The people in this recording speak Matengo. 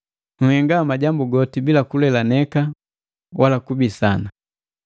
Nhenga majambu goti bila kulelaneka wala kubisana,